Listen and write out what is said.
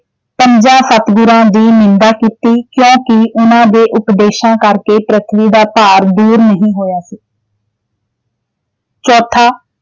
ਪੰਜਾਂ ਸਤਿਗੁਰਾਂ ਦੀ ਨਿੰਦਾ ਕੀਤੀ, ਕਿਉਕਿ ਉਨ੍ਹਾਂ ਦੇ ਉਪਦੇਸ਼ਾਂ ਕਰਕੇ ਪਿ੍ਥਵੀ ਦਾ ਭਾਰ ਦੂਰ ਨਹੀਂ ਹੋਇਆ ਸੀ। ਚੌਥਾ